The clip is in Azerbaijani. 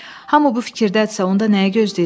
Hamı bu fikirdədirsə, onda nəyi gözləyirik?